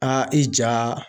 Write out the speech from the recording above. i ja